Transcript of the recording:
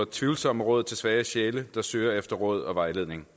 tvivlsomme råd til svage sjæle der søger råd og vejledning